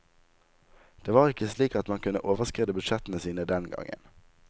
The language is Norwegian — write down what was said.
Det var ikke slik at man kunne overskride budsjettene sine den gangen.